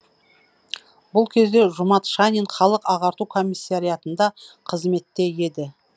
бұл кезде жұмат шанин халық ағарту комиссариатында қызметте еді